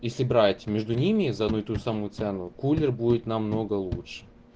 если брать между ними за одну и ту же самую цену кулер будет намного лучше